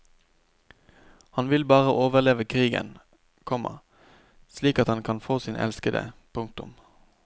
Han vil bare overleve krigen, komma slik at han kan få sin elskede. punktum